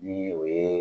Ni o ye